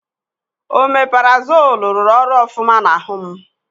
Omeparazoolu rụrụ ọrụ ofụma n'ahụ m.